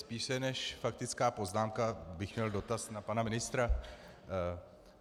Spíše než faktickou poznámku bych měl dotaz na pana ministra.